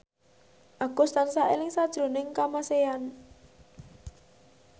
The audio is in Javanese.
Agus tansah eling sakjroning Kamasean